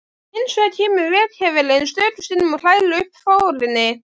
Hinsvegar kemur veghefillinn stöku sinnum og hrærir upp forinni.